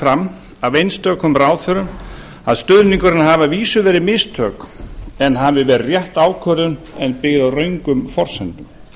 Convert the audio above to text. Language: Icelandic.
fram af einstökum ráðherrum að stuðningurinn hafi að vísu verið mistök hafi verið rétt ákvörðun en byggð á röngum forsendum